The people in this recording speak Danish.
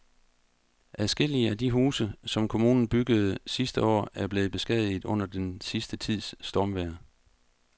Adskillige af de huse, som kommunen byggede sidste år, er blevet beskadiget under den sidste tids stormvejr.